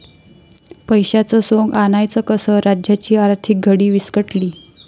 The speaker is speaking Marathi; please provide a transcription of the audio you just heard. पैशाचं सोंग आणायचं कसं? राज्याची आर्थिक घडी विस्कटली!